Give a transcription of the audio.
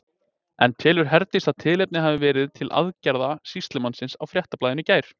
En telur Herdís að tilefni hafi verið til aðgerða sýslumannsins á Fréttablaðinu í gær?